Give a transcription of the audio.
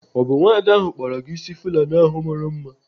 Ọ bụ nwada ahụ kpara gị ịsị Fulani ahụ mara mma?